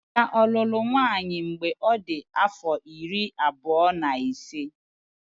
Emeka ọ lụrụ nwaanyị mgbe ọ dị afọ iri abụọ na ise?